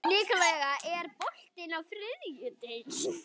Nikoletta, er bolti á þriðjudaginn?